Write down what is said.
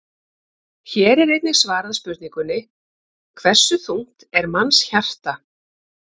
Hér er einnig svarað spurningunni: Hversu þungt er mannshjarta?